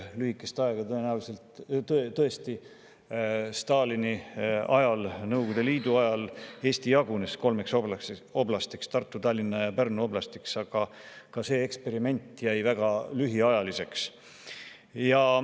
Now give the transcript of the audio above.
Lühikest aega Stalini ajal, Nõukogude Liidu ajal Eesti tõesti jagunes kolmeks oblastiks: Tartu, Tallinna ja Pärnu oblastiks, aga see eksperiment jäi väga lühiajaliseks.